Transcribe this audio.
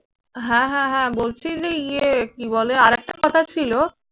হ্যাঁ হ্যাঁ হ্যাঁ বলছি যে ইয়ে কি বলে আরেকটা কথা ছিল।